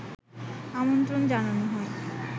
আমন্ত্রণ জানানো হয়